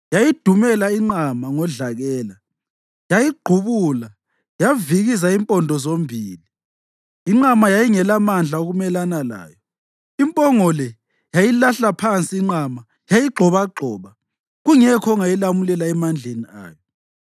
Yayidumela inqama ngodlakela, yayigqubula yavikiza impondo zombili. Inqama yayingelamandla okumelana layo; impongo le yayilahla phansi inqama yayigxobagxoba, kungekho ongayilamulela emandleni ayo.